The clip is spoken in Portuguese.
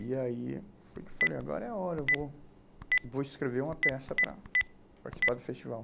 E aí foi que eu falei, agora é a hora, eu vou, vou escrever uma peça para participar do festival.